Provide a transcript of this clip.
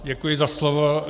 Děkuji za slovo.